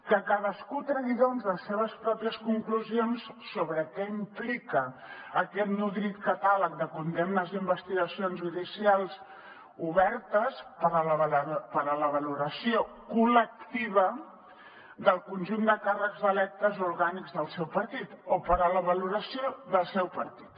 que cadascú tregui doncs les seves pròpies conclusions sobre què implica aquest nodrit catàleg de condemnes i investigacions judicials obertes per a la valoració col·lectiva del conjunt de càrrecs electes o orgànics del seu partit o per a la valoració del seu partit